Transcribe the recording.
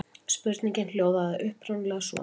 Spurningin hljóðaði upprunalega svona: